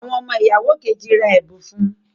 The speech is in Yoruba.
Awọn ọmọ ìyàwó Kejì rà ẹbun fún